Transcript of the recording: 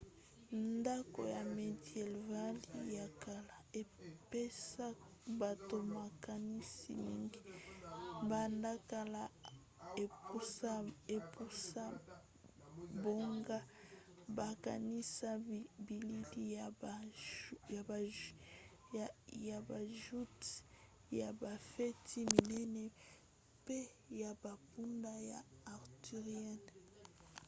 ndako ya médiéval ya kala epesa bato makanisi mingi banda kala epusa bango bakanisa bilili ya ba joutes ya bafeti minene mpe ya bampunda ya arthurienne